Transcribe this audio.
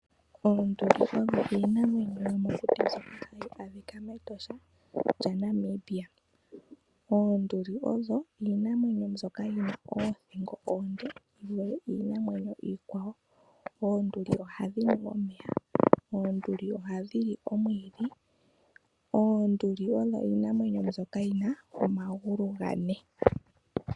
Oonduli odho iinamwenyo yomokuti mbyoka hayi adhika mEtosha lyaNamibia. Oonduli odho iinamwenyo mbyoka yi na oothingo oonde yi vule iinamwenyo iikwawo. Oonduli ohadhi nu omeya. Oonduli ohadhi li omwiidhi. Oonduli odho iinamwenyo mbyoka yi na omagulu gane.